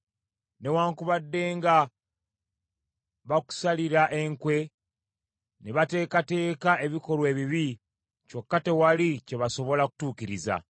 Newaakubadde nga bakusalira enkwe, ne bateekateeka ebikolwa ebibi, kyokka tewali kye basobola kutuukiriza.